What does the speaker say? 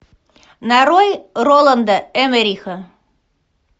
нарой роланда эммериха